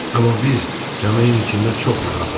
Amma biz kamilin içində çox rahatıq.